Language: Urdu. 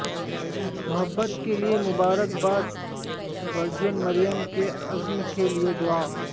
محبت کے لئے مبارک باد ورجن مریم کے عزم کے لئے دعا